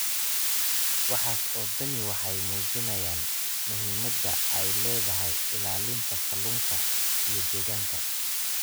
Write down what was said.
Waxaas oo dhami waxay muujinayaan muhiimadda ay leedahay ilaalinta kalluunka iyo deegaanka.